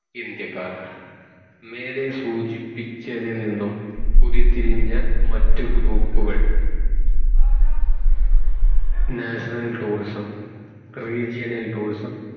ഇന്ത്യക്കാർ മേലെ സൂചിപ്പിച്ചതിൽ നിന്നും പുതിത്തിരിഞ്ഞ മറ്റു group കൾ national tourism regional tourism